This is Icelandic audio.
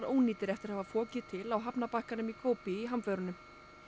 ónýtir eftir að hafa fokið til á hafnarbakkanum í Kobe í hamförunum